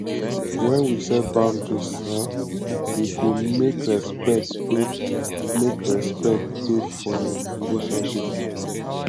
when we set boundaries um e dey make respect dey make respect dey for um relationship